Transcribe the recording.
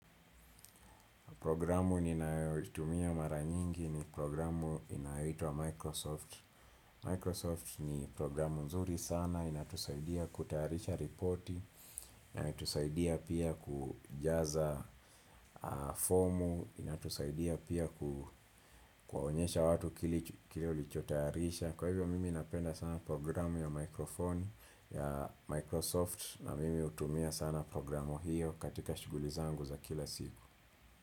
Programu ninayoitumia mara nyingi ni programu inayoitwa Microsoft. Microsoft ni programu nzuri sana, inatusaidia kutayarisha ripoti, inatusaidia pia kujaza fomu, inatusaidia pia kuwaonyesha watu kili ulichotayarisha. Kwa hivyo mimi inapenda sana programu ya microphone ya Microsoft na mimi hutumia sana programu hiyo katika shuguli zangu za kila siku.